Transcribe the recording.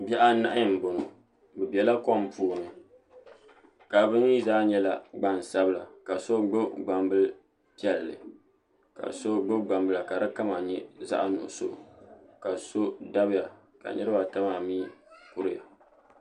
Bihi anahi n boŋo bi biɛla kom puuni ka bi mii zaa nyɛla gban sabila ka so gbubi gbanbili piɛlli ka so gbubi gbambila ka di kama nyɛzaɣ nuɣso ka so dabiya ka niraba ata maa mii kuriya